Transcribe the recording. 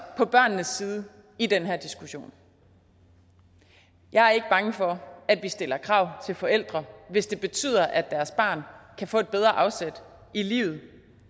på børnenes side i den her diskussion jeg er ikke bange for at vi stiller krav til forældre hvis det betyder at deres barn kan få et bedre afsæt i livet